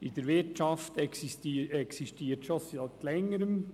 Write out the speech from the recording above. In der Wirtschaft existiert sie schon seit Längerem.